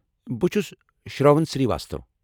بہٕ چُھس شر٘ون سری واستو ۔